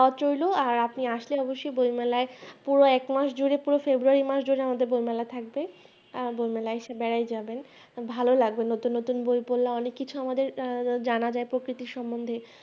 দাওয়াত রইলো আর আপনি আসলে অবশ্যই বইমেলায় পুরো এক মাস জুড়ে পুরো February মাস জুড়ে বইমেলা থাকবে আর বই মেলায় এসে বেড়ায় যাবেন ভালো লাগবে নতুন নতুন বই পড়লে অনেক কিছু আমাদের আহ জানা যায় প্রকৃতির সম্বন্ধে